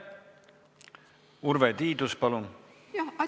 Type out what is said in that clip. Urve Tiidus, palun!